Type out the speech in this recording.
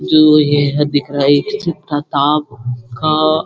जो ये है दिखाई काम काम --